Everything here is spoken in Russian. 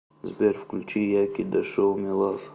сбер включи яки да шоу ми лав